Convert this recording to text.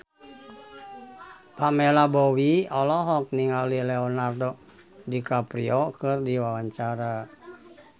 Pamela Bowie olohok ningali Leonardo DiCaprio keur diwawancara